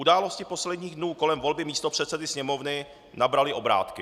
Události posledních dnů kolem volby místopředsedy Sněmovny nabraly obrátky.